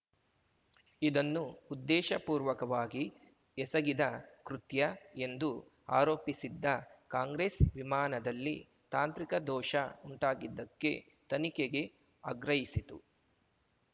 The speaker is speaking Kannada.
ಇದನ್ನು ಉದ್ದೇಶ ಪೂರ್ವಕವಾಗಿ ಎಸಗಿದ ಕೃತ್ಯ ಎಂದು ಆರೋಪಿಸಿದ್ದ ಕಾಂಗ್ರೆಸ್‌ ವಿಮಾನದಲ್ಲಿ ತಾಂತ್ರಿಕ ದೋಷ ಉಂಟಾಗಿದ್ದಕ್ಕೆ ತನಿಖೆಗೆ ಆಗ್ರಹಿಸಿತ್ತು